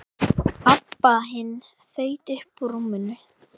Abba hin þaut upp úr rúminu.